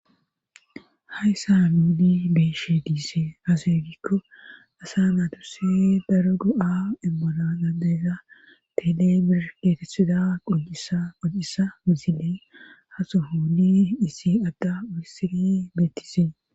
Hayssa hamuudi beeshe diise hase gikko asa naadurse daro du'a imbola adeeza tele bir geetethida qocisa misile hasohuuni isi adda urisiri beettises.